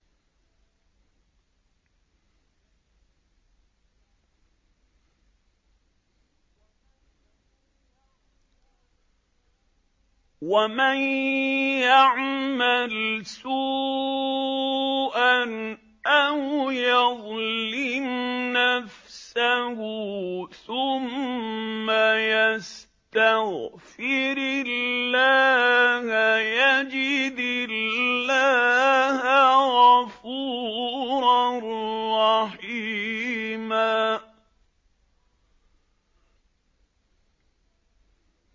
وَمَن يَعْمَلْ سُوءًا أَوْ يَظْلِمْ نَفْسَهُ ثُمَّ يَسْتَغْفِرِ اللَّهَ يَجِدِ اللَّهَ غَفُورًا رَّحِيمًا